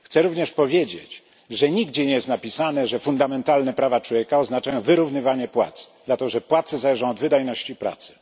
Chcę również powiedzieć, że nigdzie nie jest napisane, że fundamentalne prawa człowieka oznaczają wyrównywanie płac, ponieważ płace zależą od wydajności pracy.